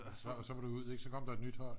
så var det ud så kom der et nyt hold